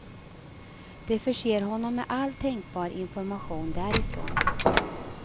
De förser honom med all tänkbar information därifrån.